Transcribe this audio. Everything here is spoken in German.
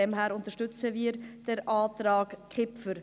Deshalb unterstützen wir den Antrag Kipfer.